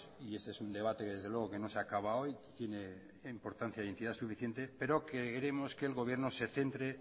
y ese es un debate que desde luego que no se ha acaba hoy tiene importancia e identidad suficiente pero que creemos que el gobierno se centre